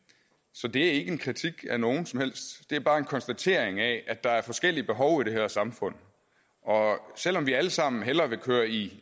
så det er ikke en kritik af nogen som helst det er bare en konstatering af at der er forskellige behov i det her samfund og selv om vi alle sammen hellere vil køre i